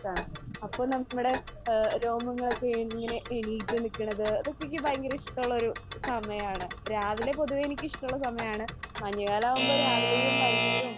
അപ്പോ നമ്മടെ ആ രോമങ്ങളൊക്കെ ഇങ്ങനെ എണീറ്റ് നിക്കണത് അതൊക്കെ എനിക്ക് ഭയങ്കര ഇഷ്ടമുള്ള ഒരു സമയമാണ്. രാവിലെ പൊതുവെ എനിക്ക് ഇഷ്ടമുള്ള സമയമാണ്. മഞ്ഞുകാലം ആകുമ്പോ രാവിലേയും വൈകുന്നേരവും ഇഷ്ടമാണ്.